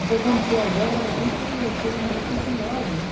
Então quando foi a guerra aqui foi foi uma dificuldade, né?